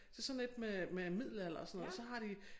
Til sådan et med med middelalder og sådan noget så har de